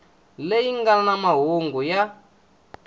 leyi nga na mahungu ya